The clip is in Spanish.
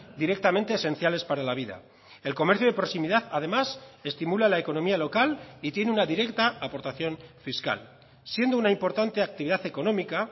directamente esenciales para la vida el comercio de proximidad además estimula la economía local y tiene una directa aportación fiscal siendo una importante actividad económica